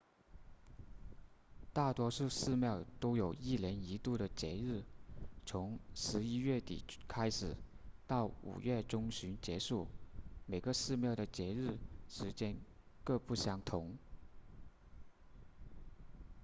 大多数寺庙都有一年一度的节日从十一月底开始到五月中旬结束每个寺庙的节日时间各不相同